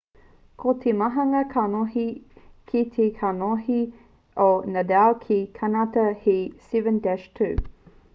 ko te mauhanga kanohi ki te kanohi o nadal ki te kānata he 7-2